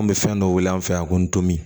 An bɛ fɛn dɔ weele an fɛ yan ko n tomin